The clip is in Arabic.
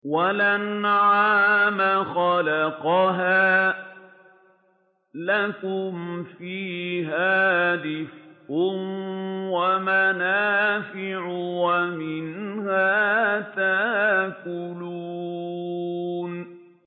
وَالْأَنْعَامَ خَلَقَهَا ۗ لَكُمْ فِيهَا دِفْءٌ وَمَنَافِعُ وَمِنْهَا تَأْكُلُونَ